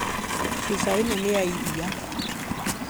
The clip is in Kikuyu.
Cuba ĩno nĩ ya iria